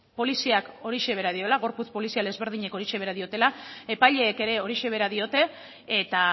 poliziak horixe bera diola gorputz polizial ezberdinek horixe bera diotela epaileek ere horixe bera diote eta